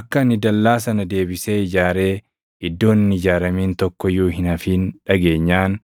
akka ani dallaa sana deebisee ijaaree iddoon hin ijaaramin tokko iyyuu hin hafin dhageenyaan